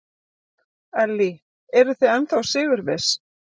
Ellý: Eruð þið ennþá sigurviss?